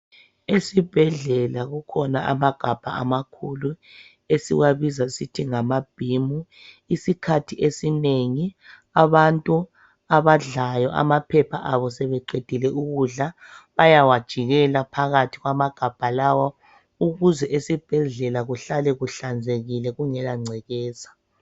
Esibhedlela kukhona amagabha amakhulu esiwabiza sithi ngamabhimu isikhathi esinengi abantu abadlayo amaphepha abo ebeqendile bayawajikela ukuze esibhedlela akuhlale kuhlanzekile kungela ngcekeza .